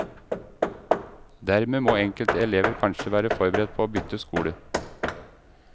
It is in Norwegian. Dermed må enkelte elever kanskje være forberedt på å bytte skole.